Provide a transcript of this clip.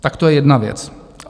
Tak to je jedna věc.